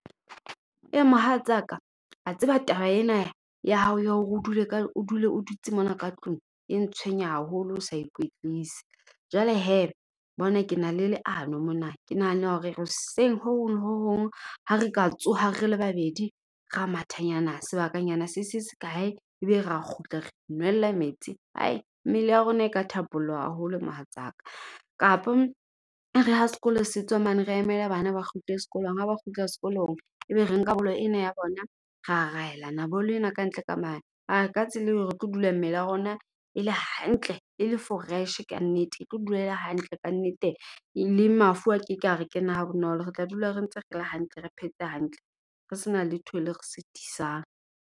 Mohatsaka wa tseba taba ena ya hao ya hore o dule ka o dule o dutse mona ka tlung e ntshwenya haholo o sa ikwetlise. Jwale hee bona ke na le leano mona. Ke nahana hore hoseng ho hong le hong ha re ka tsoha re le babedi ra mathatanyana sebakanyana se se se kae. Ebe rea kgutla re inwella metsi, hai mmele ya rona e ka thapolloha haholo mohatsaka. Kapa e re ha sekolo se tswa mane re emele bana ba kgutle sekolong ha ba kgutla sekolong ebe re nka bolo ena ya bona, ra raelana bolo ena kantle ka mane. A ka tsela eo re tlo dula mmele ya rona e le hantle e le fresh kannete, e tlo dula fresh kannete e tlo dula e le hantle kannete. Le mafu a keke a re kena ha bonolo. Re tla dula re ntse re le hantle, re phetse hantle, re sena letho le re sitisang.